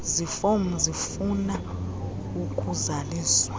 zifomu zifuna ukuzaliswa